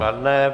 Kladné.